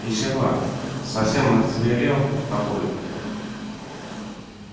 и чего совсем озверел папулька